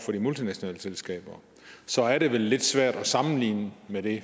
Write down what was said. til de multinationale selskaber så er det vel lidt svært at sammenligne med det